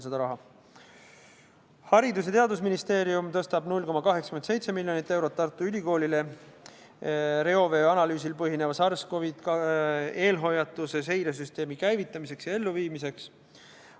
Haridus- ja Teadusministeerium tõstab 0,87 miljonit eurot Tartu Ülikoolile reovee analüüsil põhineva SARS-CoV-2 eelhoiatuse seiresüsteemi käivitamiseks ja elluviimiseks.